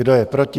Kdo je proti?